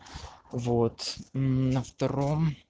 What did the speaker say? вот на втором